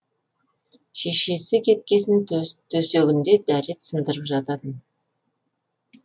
шешесі кеткесін төсегінде дәрет сындырып жататын